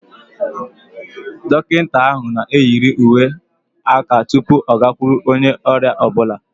Dọkịta ahụ na-eyiri uwe aka tupu ọ gakwu onye ọrịa ọ bụla